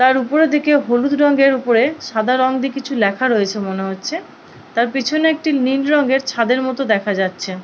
তার উপরের দিকে হলুদ রঙের উপরে সাদা রং দিয়ে কিছু লেখা রয়েছে মনে হচ্ছে। তার পিছনে একটি নীল রঙের ছাদের মতো দেখা যাচ্ছে।